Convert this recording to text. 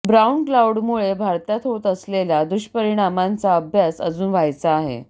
brown क्लाउडमुळे भारतात होत असलेल्या दुष्परिणामाचा अभ्यास अजून व्हायचा आहे